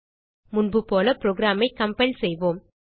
முன்புபோல புரோகிராம் ஐ கம்பைல் செய்வோம்